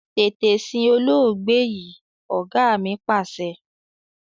Tètè sin olóògbé yìí! Ọ̀gá mi Pàṣẹ.